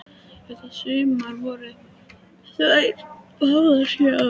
Þetta sumar voru þær báðar sjö ára.